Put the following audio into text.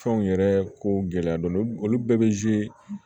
Fɛnw yɛrɛ ko gɛlɛya dɔ olu bɛɛ bɛ